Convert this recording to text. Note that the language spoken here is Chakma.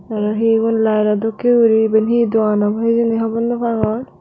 arow hi ubon layedo dokkey guri iben hi dogan obow hijeni hobor naw pangor.